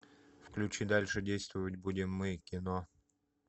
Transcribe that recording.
включи дальше действовать будем мы кино